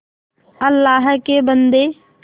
अल्लाह के बन्दे